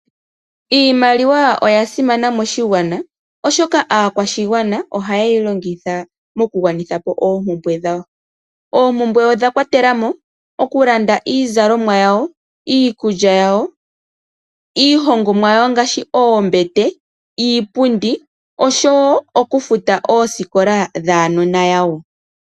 Iimaliwa oya simana moshigwana oshoka aakwashigwana oha ye yi longitha moku kandulapo dhawo. Oompumbwe odha kwatelamo oku landa iizalomwa, iikulya yawo, iihongomwa yawo ngaashi oombete, iipundi osho woo oku futa oosikola dhuunona wawo.